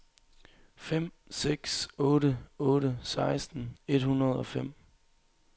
fem seks otte otte seksten et hundrede og fem